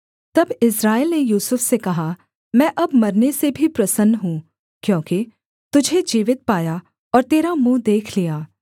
तब इस्राएल ने यूसुफ से कहा मैं अब मरने से भी प्रसन्न हूँ क्योंकि तुझे जीवित पाया और तेरा मुँह देख लिया